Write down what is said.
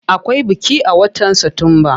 Akwai biki a watan satumba.